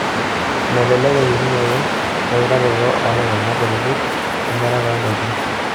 Melelek enjurunoto weutaroto olairemok kutiti wemirata oo ndaikin.